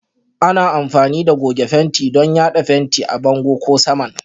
Ana amfani da goge fenti don yada fenti a bango ko saman